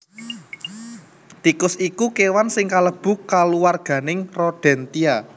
Tikus iku kéwan sing kalebu kulawarganing Rodentia